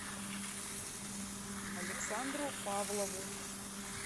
александру павлову